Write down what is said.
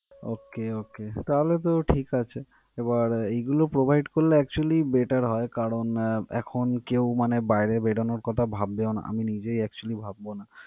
okay okay তাহলে তো ঠিক আছে. এবার এগুলো provide করলে actually better হয়. কারন, এখন কেও মানে বাইরে বেরনোর কথা ভাববেও না. আমি নিজেই acctually ভাববো ও না।